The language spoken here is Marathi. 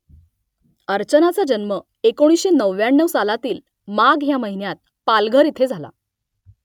अर्चनाचा जन्म एकोणीसशे नव्व्याण्णव सालातील माघ या महिन्यात पालघर इथे झाला